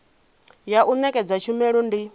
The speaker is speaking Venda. ya u nekedza tshumelo ndi